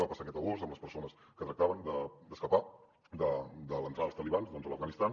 va passar aquest agost amb les persones que tractaven d’escapar de l’entrada dels talibans a l’afganistan